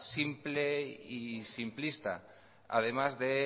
simple y simplista además de